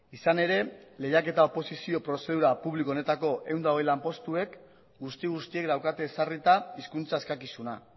izan ere lehiaketa oposizio prozedura publiko honetako ehun eta hogei lanpostuek guzti guztiek daukate ezarrita hizkuntza eskakizuna